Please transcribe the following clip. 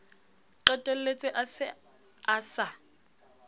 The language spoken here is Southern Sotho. qetelletse a se a sa